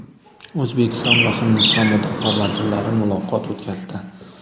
O‘zbekiston va Hindiston mudofaa vazirlari muloqot o‘tkazdi.